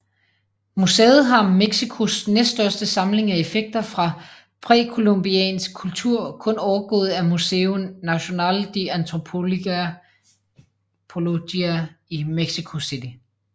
Museet har Mexicos næststørste samling af effekter fra præcolumbiansk kultur kun overgået af Museo Nacional de Antropología i Mexico City